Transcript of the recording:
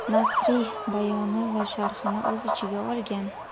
nasriy bayoni va sharhini o‘z ichiga olgan.